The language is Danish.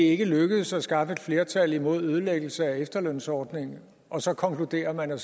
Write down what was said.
ikke lykkedes at skaffe et flertal imod ødelæggelse af efterlønsordningen og så konkluderer man at